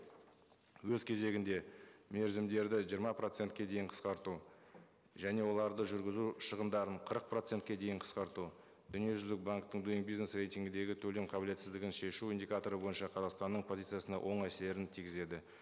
өз кезегінде мерзімдерді жиырма процентке дейін қысқарту және оларды жүргізу шығындарын қырық процентке дейін қысқарту дүниежүзілік банктің бизнес рейтингіндегі төлем қабілетсіздігін шешу индикаторы бойынша қазақстанның позициясына оң әсерін тигізеді